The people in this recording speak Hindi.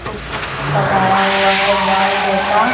कुछ लगाया हुआ है जाल जैसा --